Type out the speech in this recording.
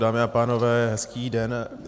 Dámy a pánové, hezký den.